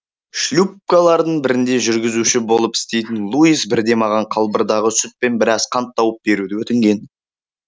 шлюпкалардың бірінде жүргізуші болып істейтін луис бірде маған қалбырдағы сүт пен біраз қант тауып беруді өтінген